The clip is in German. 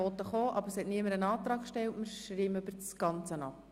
Deshalb stimmen wir über den gesamten Vorstoss ab.